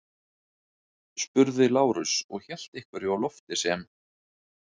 spurði Lárus og hélt einhverju á lofti sem